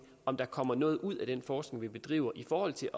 om der kommer noget ud af den forskning vi bedriver i forhold til